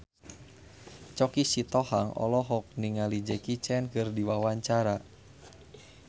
Choky Sitohang olohok ningali Jackie Chan keur diwawancara